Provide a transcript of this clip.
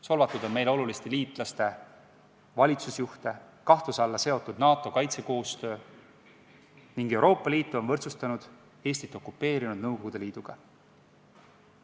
Solvatud on meile oluliste liitlaste valitsusjuhte, kahtluse alla on seatud NATO kaitsekoostöö ning Euroopa Liitu on võrdsustatud Eestit okupeerinud Nõukogude Liiduga.